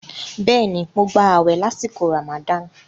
Bẹ́ẹ̀ni, mo gbà àwẹ̀ lásìkò Ramadan.